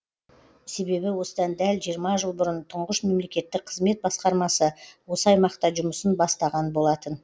себебі осыдан дәл жиырма жыл бұрын тұңғыш мемлекеттік қызмет басқармасы осы аймақта жұмысын бастаған болатын